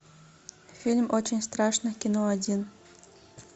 фильм очень страшное кино один